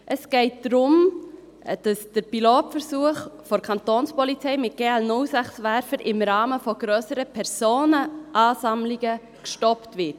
Es geht darum, dass der Pilotversuch der Kapo mit GL06-Werfern im Rahmen grösserer Personenansammlungen gestoppt wird.